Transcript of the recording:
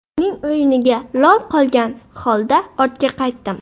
Uning o‘yiniga lol qolgan holda ortga qaytdim.